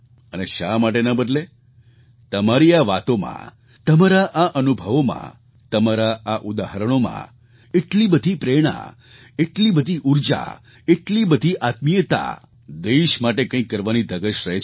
અને શા માટે ન બદલે તમારી આ વાતોમાં તમારા આ અનુભવોમાં તમારાં આ ઉદાહરણોમાં એટલી બધી પ્રેરણા એટલી બધી ઊર્જા એટલી બધી આત્મીયતા દેશ માટે કંઈક કરવાની ધગશ રહે છે